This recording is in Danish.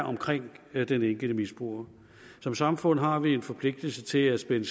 omkring den enkelte misbruger som samfund har vi en forpligtelse til at spænde